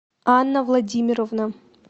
анна владимировна